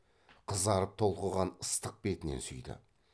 қызарып толқыған ыстық бетінен сүйді